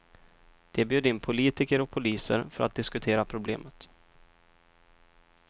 De bjöd in politiker och poliser för att diskutera problemet.